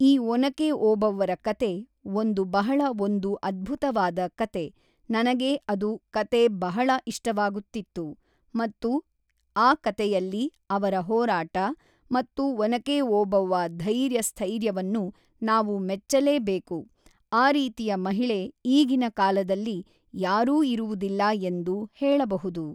ಈ ಒನಕೆ ಓಬವ್ವರ ಕತೆ ಒಂದು ಬಹಳ ಒಂದು ಅದ್ಭುತವಾದ ಕತೆ ನನಗೆ ಅದು ಕತೆ ಬಹಳ ಇಷ್ಟವಾಗುತ್ತಿತ್ತು ಮತ್ತು ಆ ಕತೆಯಲ್ಲಿ ಅವರ ಹೋರಾಟ ಮತ್ತು ಒನಕೆ ಓಬವ್ವ ಧೈರ್ಯ ಸ್ಥೈರ್ಯವನ್ನು ನಾವು ಮೆಚ್ಚಲೇಬೇಕು ಆ ರೀತಿಯ ಮಹಿಳೆ ಈಗಿನ ಕಾಲದಲ್ಲಿ ಯಾರೂ ಇರುವುದಿಲ್ಲ ಎಂದು ಹೇಳಬಹುದು